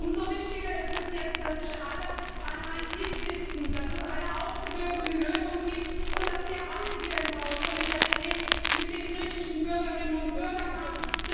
Umso wichtiger ist es jetzt, dass sich alle an einen Tisch setzen, dass es eine ausgewogene Lösung gibt und dass wir alle hier im Haus Solidarität mit den griechischen Bürgerinnen und Bürgern